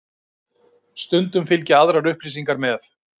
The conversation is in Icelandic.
Stundum fylgja aðrar upplýsingar með.